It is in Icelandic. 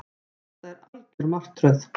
Þetta er algjör martröð